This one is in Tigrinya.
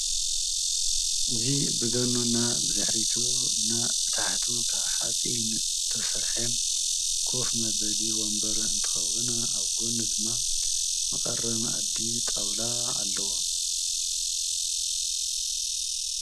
እዚ ብጎኑና ብታሕቱ ካብ ሓፂን ዝተሰረሐ ኮፍ መበሊ ወንበር እንትከውን ኣብ ጎና ድማ መቀረቢ መኣዲ ጣውላ ኣለዎ።